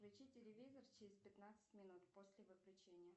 включи телевизор через пятнадцать минут после выключения